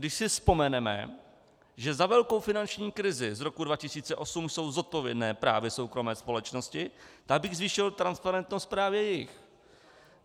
Když si vzpomeneme, že za velkou finanční krizi z roku 2008 jsou zodpovědné právě soukromé společnosti, tak bych zvýšil transparentnost právě jejich.